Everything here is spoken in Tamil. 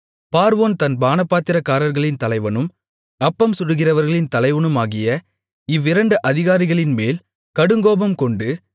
பார்வோன் தன் பானபாத்திரக்காரர்களின் தலைவனும் அப்பம் சுடுகிறவர்களின் தலைவனுமாகிய இவ்விரண்டு அதிகாரிகள்மேல் கடுங்கோபம்கொண்டு